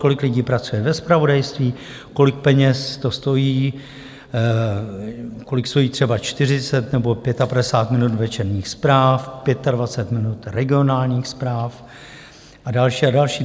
Kolik lidí pracuje ve zpravodajství, kolik peněz to stojí, kolik stojí třeba 40 nebo 55 minut večerních zpráv, 25 minut regionálních zpráv a další a další.